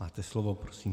Máte slovo, prosím.